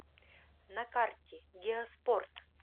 на карте геоспорт